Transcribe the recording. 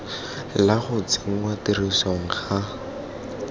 la go tsenngwa tirisong ga